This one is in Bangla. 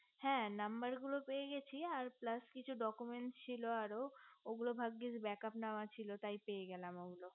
হে নম্বরগুলো সব পেয়ে গেছি আর plus কিছু document ছিল আরো ওগুলো ভাগ্গিস break up নেওয়া ছিল তাই পেয়ে গেলাম ওগুলো